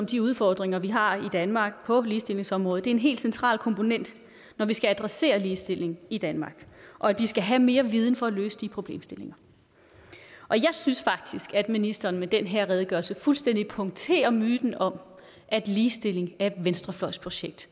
de udfordringer vi har i danmark på ligestillingsområdet er en helt central komponent når vi skal adressere ligestilling i danmark og at vi skal have mere viden for at løse de problemstillinger jeg synes faktisk at ministeren i den her redegørelse fuldstændig punkterer myten om at ligestilling er et venstrefløjsprojekt